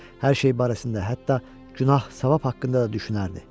Hər şey barəsində hətta günah-savab haqqında da düşünərdi.